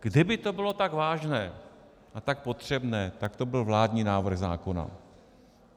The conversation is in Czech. Kdyby to bylo tak vážné a tak potřebné, tak to byl vládní návrh zákona.